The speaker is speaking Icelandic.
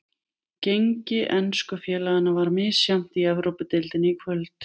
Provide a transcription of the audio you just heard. Gengi ensku félaganna var misjafnt í Evrópudeildinni í kvöld.